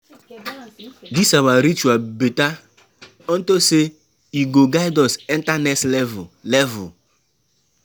Dis our ritual better unto say e go guide us enter next level level.